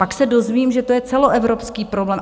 Pak se dozvím, že to je celoevropský problém.